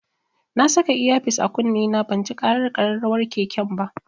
Na saka iya fis a kunne na banji ƙarar ƙararrawar keken ba.